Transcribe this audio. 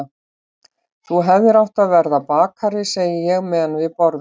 Þú hefðir átt að verða bakari, segi ég meðan við borðum.